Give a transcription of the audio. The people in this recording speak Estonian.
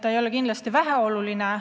See ei ole kindlasti väheoluline.